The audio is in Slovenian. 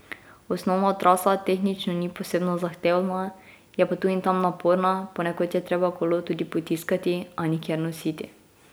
Osnovna trasa tehnično ni posebno zahtevna, je pa tu in tam naporna, ponekod je treba kolo tudi potiskati, a nikjer nositi.